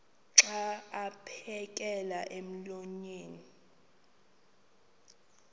xa aphekela emoyeni